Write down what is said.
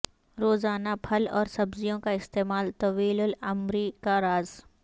روزانہ پھل اور سبزیوں کا استعمال طویل العمر ی کا راز